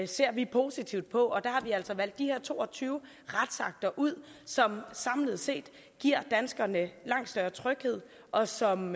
ser vi positivt på og der har vi altså valgt de her to og tyve retsakter ud som samlet set giver danskerne langt større tryghed og som